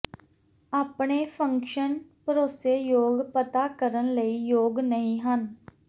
ਆਪਣੇ ਫੰਕਸ਼ਨ ਭਰੋਸੇਯੋਗ ਪਤਾ ਕਰਨ ਲਈ ਯੋਗ ਨਹੀ ਹਨ